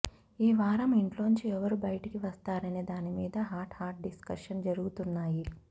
ఈ వారం ఇంట్లోంచి ఎవరు బయటికి వస్తారనే దానిమీద హాట్ హాట్ డిస్కషన్స్ జరుగుతున్నాయి